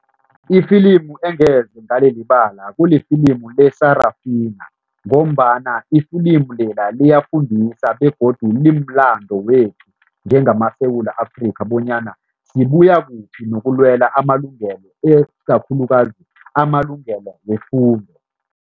Ifilimu engeze ngalilibala kulifilimu le-Sarafinah ngombana iflimu lela liyafundisa begodu limlando wethu njengamaSewula Afrika bonyana sibuya kuphi nokulwela amalungelo kakhulukazi amalungelo wefundo.